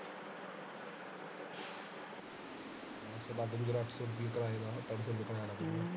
ਇਕ ਬੰਦੇ ਦਾ ਅੱਠ ਸੋ ਰੁਪਇਆ ਆਊਗਾ ਆਪਾਂ ਵੀ ਤੇ ਜਾਣਾ ਵਿਚ।